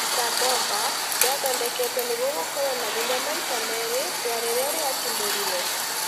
Tsar Bomba yathondeketwe nĩguo gũkorwo na hinya maita merĩ ya riria riatimũrirwe